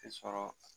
I sɔrɔ